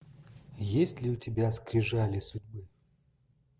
есть ли у тебя скрижали судьбы